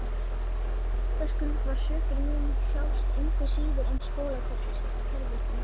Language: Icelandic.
Vitaskuld var sökin mín sjálfs engu síður en skólakerfisins.